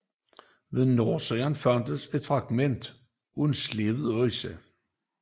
Ved nordsiden fandtes et fragment af en slebet økse